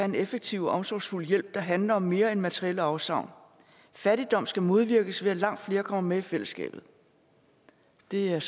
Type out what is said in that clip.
en effektiv og omsorgsfuld hjælp der handler om mere end materielle afsavn fattigdom skal modvirkes ved at langt flere kommer med i fællesskabet det er jeg